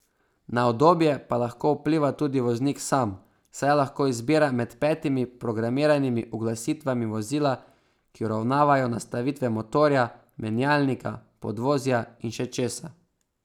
Na udobje pa lahko vpliva tudi voznik sam, saj lahko izbira med petimi programiranimi uglasitvami vozila, ki uravnavajo nastavitve motorja, menjalnika, podvozja in še česa.